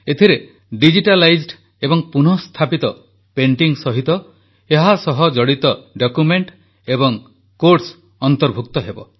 ଏଥିରେ ଡିଜିଟାଲାଇଜଡ୍ ଏବଂ ପୁନଃସ୍ଥାପିତ ପେଣ୍ଟିଙ୍ଗ ସହିତ ଏହାସହ ଜଡିତ ଡକ୍ୟୁମେଣ୍ଟ ଏବଂ କୋଟ୍ସ ଅନ୍ତର୍ଭୁକ୍ତ ହେବ